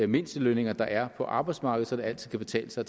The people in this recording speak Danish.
mindstelønninger der er på arbejdsmarkedet så det altid kan betale sig